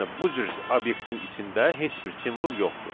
Yəni bu cür obyektin içində heç bir simvol yoxdur.